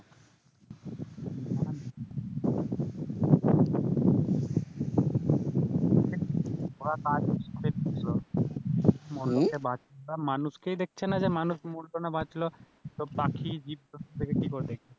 ওরা মানুষকেই দেখছে না যে মানুষ মরলো না বাঁচলো তো পাখি, জীবজন্তুকে কি করে দেখবে